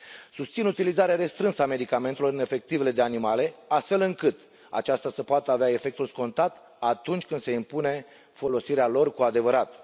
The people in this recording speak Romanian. Susțin utilizarea restrânsă a medicamentelor în efectivele de animale, astfel încât aceasta să poată avea efectul scontat atunci când se impune folosirea lor cu adevărat.